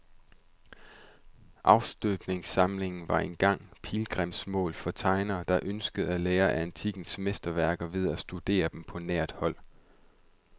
Afstøbningssamlingen var engang pilgrimsmål for tegnere, der ønskede at lære af antikkens mesterværker ved at studere dem på nært hold.